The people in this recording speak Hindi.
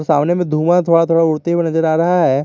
सामने में धुआं थोड़ा थोड़ा उड़ते हुए नजर आ रहा है।